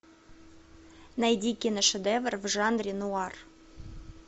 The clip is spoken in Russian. найди киношедевр в жанре нуар